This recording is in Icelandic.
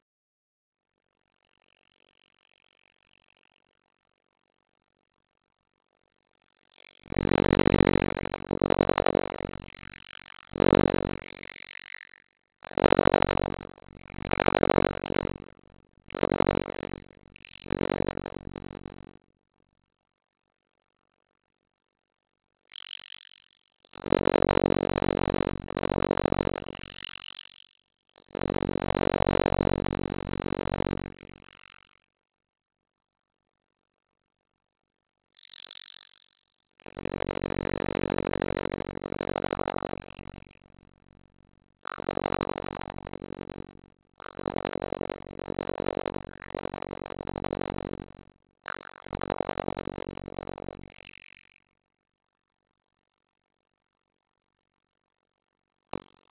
því var fullt af herbergjum, stórar stofur, stigar, gangar og rangalar.